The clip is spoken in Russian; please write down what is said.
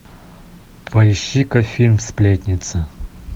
поищи ка фильм сплетница